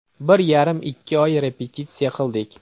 Bir yarim-ikki oy repetitsiya qildik.